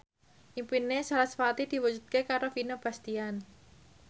impine sarasvati diwujudke karo Vino Bastian